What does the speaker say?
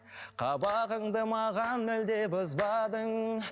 қабағыңды маған мүлде бұзбадың